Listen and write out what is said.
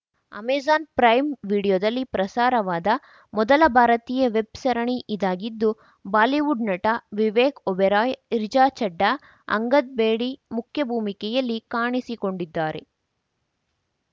Amazon Prime ವಿಡಿಯೋದಲ್ಲಿ ಪ್ರಸಾರವಾದ ಮೊದಲ ಭಾರತೀಯ ವೆಬ್‌ ಸರಣಿ ಇದಾಗಿದ್ದು ಬಾಲಿವುಡ್‌ ನಟ ವಿವೇಕ್‌ ಒಬೆರಾಯ್‌ ರಿಚಾ ಛಡ್ಡಾ ಅಂಗದ್‌ ಬೇಡಿ ಮುಖ್ಯಭೂಮಿಕೆಯಲ್ಲಿ ಕಾಣಿಸಿಕೊಂಡಿದ್ದಾರೆ